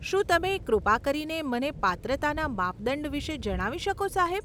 શું તમે કૃપા કરીને મને પાત્રતાના માપદંડ વિશે જણાવી શકો, સાહેબ?